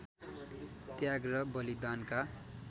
त्याग र बलिदानका